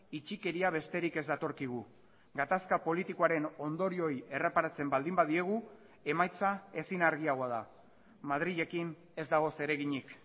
itxikeria besterik ez datorkigu gatazka politikoaren ondorioei erreparatzen baldin badiegu emaitza ezin argiagoa da madrilekin ez dago zereginik